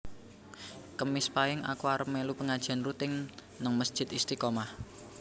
Kemis pahing aku arep melu pengajian rutin ning mesjid Istiqomah